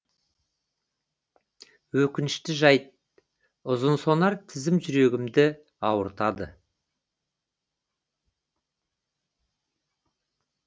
өкінішті жайт ұзынсонар тізім жүрегімді ауыртады